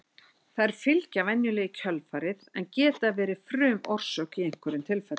Þær fylgja venjulega í kjölfarið en geta verið frumorsök í einhverjum tilfellum.